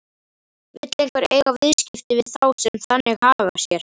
Vill einhver eiga viðskipti við þá sem þannig haga sér?